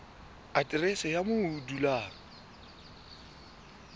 aterese ya moo o dulang